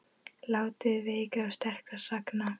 Þátíð veikra og sterkra sagna.